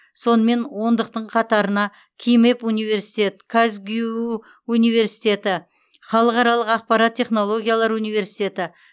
сонымен ондықтықтың қатарына кимэп университет казгюу университеті халықаралық ақпараттық технологиялар университеті